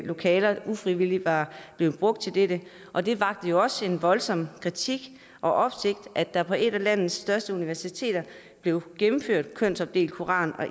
lokaler ufrivilligt var blevet brugt til dette og det vakte jo også en voldsom kritik og opsigt at der på et af landets største universiteter blev gennemført kønsopdelt koran